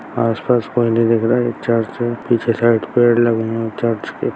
आस-पास कोई नहीं दिख रहा है एक चर्च है पीछे साइड पेड़ लगी है चर्च के।